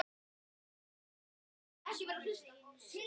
Þarf fólk að vara sig?